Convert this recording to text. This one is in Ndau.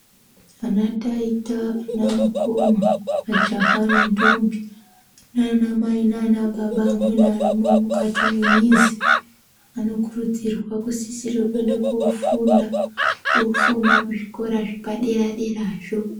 Anataita anamukoma majaha nendombo, anamai nanababa amweni arimwo mukati mwemizi. Anokurudzirwa kusisira kuenda kofunda ofunda kuzvikora zvepadera-derazvo.